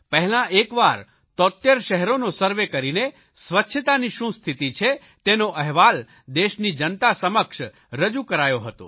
પહેલા એકવાર 73 શહેરોનો સર્વે કરીને સ્વચ્છતાની શું સ્થિતિ છે તેનો અહેવાલ દેશની જનતા સમક્ષ રજૂ કરાયો હતો